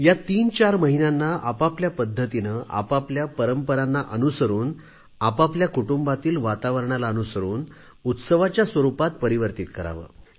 हे तीन चार महिने आपापल्या पद्धतीने आपापल्या परंपरांना अनुसरून आपापल्या कुटुंबातील वातावरणाला अनुसरून उत्सवाच्या काळामध्ये परिवर्तित करावे